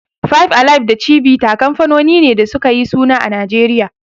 Five alive da Chivita kanfanoni ne da suka yi suna a Najeriya.